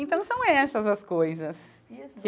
Então são essas as coisas.